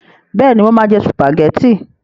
Bẹ́ẹ̀ni, mo máa jẹ sùpàgẹ́tì.